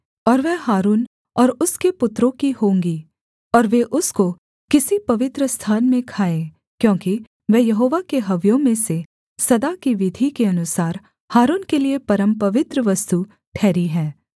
और वह हारून और उसके पुत्रों की होंगी और वे उसको किसी पवित्रस्थान में खाएँ क्योंकि वह यहोवा के हव्यों में से सदा की विधि के अनुसार हारून के लिये परमपवित्र वस्तु ठहरी है